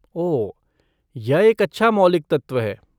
ओह, यह एक अच्छा मौलिक तत्व है।